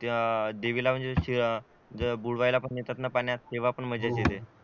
त्या देवीला म्हणजे अह बुडवायला पण नेतेत ना पाण्यात तेव्हा पण मजा येते